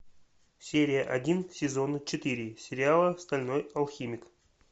серия один сезона четыре сериала стальной алхимик